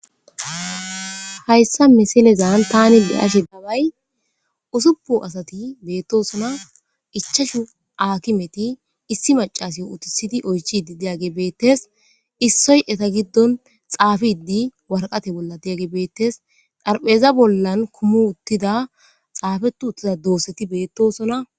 Hayissa misilezan tani le'asi daabay usupo asati beettosona ichashu aakimeti issi macasi utisidi oychidi deage beettes issoy eta giddon xaafidi warqate bolla deage beettes dharpheza bollan kumu uttida xaafetu uttida dooseti beettosona